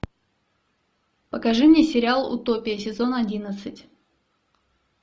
покажи мне сериал утопия сезон одиннадцать